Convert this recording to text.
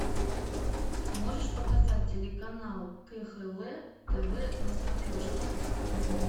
можешь показать телеканал кхл тв на смотрешке